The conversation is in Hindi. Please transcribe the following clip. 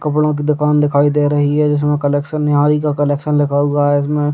कपड़ो की दुकान दिखाई दे रही है जिसमे कलेक्शन का कलेक्शन लिखा हुआ है इसमें।